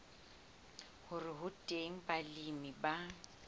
hore ho teng balemi ba